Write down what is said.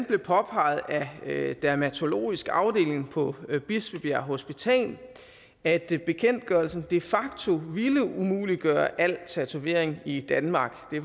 blev påpeget af dermatologisk afdeling på bispebjerg hospital at bekendtgørelsen de facto ville umuliggøre al tatovering i danmark det